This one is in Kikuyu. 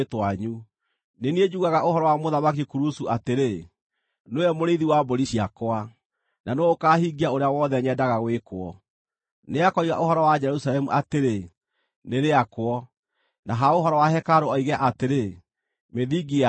Nĩ niĩ njugaga ũhoro wa Mũthamaki Kurusu atĩrĩ, ‘Nĩwe mũrĩithi wa mbũri ciakwa, na nĩwe ũkaahingia ũrĩa wothe nyendaga wĩkwo; Nĩakoiga ũhoro wa Jerusalemu atĩrĩ, “Nĩrĩakwo,” na ha ũhoro wa hekarũ oige atĩrĩ, “Mĩthingi yayo nĩyakwo.” ’”